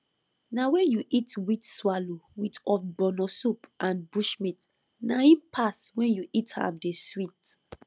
na wen you eat wheat swallow with ogbono soup and bushmeat na im pass wen you eat am dey sweet